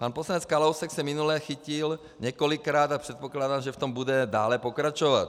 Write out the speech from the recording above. Pan poslanec Kalousek se minule chytil několikrát a předpokládám, že v tom bude dále pokračovat.